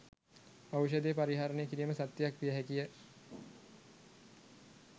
ඖෂධය පරිහරණය කිරීම සත්‍යයක් විය හැකියි.